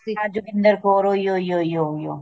ਆ ਜੋਗਿੰਦਰ ਕੋਰ ਉਈ ਉਈ ਉਈ ਉਹ